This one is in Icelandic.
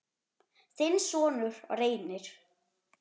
Þinn sonur, Reynir.